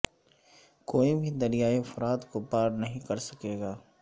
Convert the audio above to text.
کوئی بھی دریائے فرات کو پار نہیں کر سکے گا